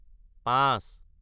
পাঁচ